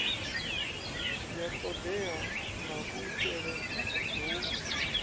ya todea na kuitele hu